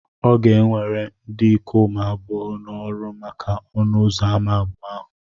Ọ ga ewere ndị ikom abụọ na-oru maka ọnụ ụzọ ámá abụọ ahụ